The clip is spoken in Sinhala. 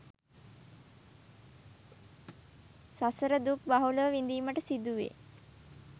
සසර දුක් බහුලව විඳීමට සිදුවේ.